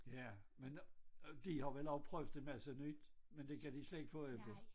Ja men øh de har vel også prøvet en masse nyt med det kan de slet ikke få øje på